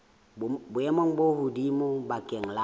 boemong bo hodimo bakeng la